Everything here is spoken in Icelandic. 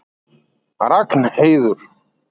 Ragnheiður